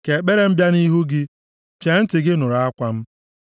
Ka ekpere m bịa nʼihu gị. Chee ntị gị nụrụ akwa m.